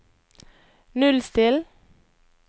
nullstill